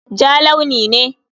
Ja launi ne.